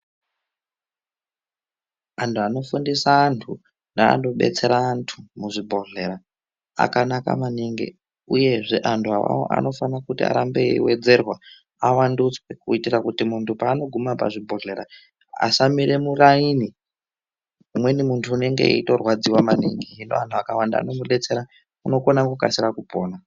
Anhu anofundisa antu neanodetsera antu muzvibhehlera akanaka maningi uyezve anhu awawo anofane kuti afane eiwedzerwa awandudzwe kuitira kuti muntu paanogume pachibhehlera asamire muraini umweni muntu unonge eitorwadziwa maningi hino anhu akawanda anomudetsera unokona kukasira kupona.